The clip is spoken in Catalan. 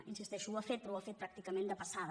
hi insisteixo ho ha fet però ho ha fet pràcticament de passada